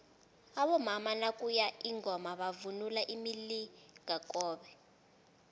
abomama nakuye ingoma bavunula imilingakobe